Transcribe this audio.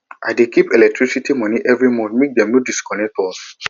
i dey keep electricity moni every month make dem no disconnect us